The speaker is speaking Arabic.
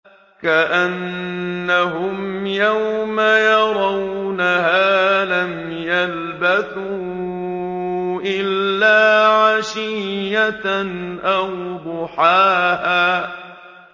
كَأَنَّهُمْ يَوْمَ يَرَوْنَهَا لَمْ يَلْبَثُوا إِلَّا عَشِيَّةً أَوْ ضُحَاهَا